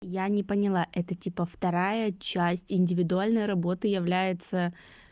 я не поняла это типа вторая часть индивидуальной работы является